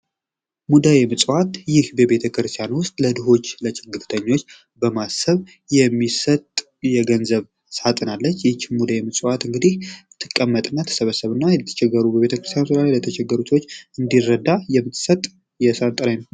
ሙዳየ ምጽዋት ;ይህ በቤተክርስቲያን ዉስጥ ለድሆች ለችግርተኞች በማሰብ የሚሰጥ የገንዘብ ሳጥን አለች ይች ሙዳየ ምጽዋት እንግዲ ትቀመጥና ትሰበሰብና በየቦታዉ ለተቸገሩ በቤተክርስቲያን ዙሪያ የተቸገሩ ሰወች የሚረዳ የሚሰጥ የሳጥን አይነት ነዉ።